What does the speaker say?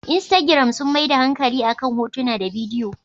Instagiram sun maida hankali akan hotuna da bidiyo.